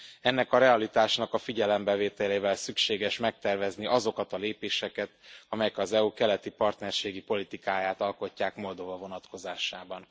Ennek a realitásnak a figyelembevételével szükséges megtervezni azokat a lépéseket, amelyek az EU keleti partnerségi politikáját alkotják Moldova vonatkozásában.